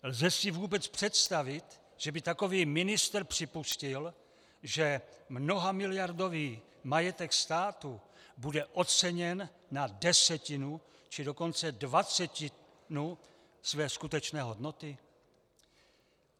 Lze si vůbec představit, že by takový ministr připustil, že mnohamiliardový majetek státu bude oceněn na desetinu, či dokonce dvacetinu své skutečné hodnoty?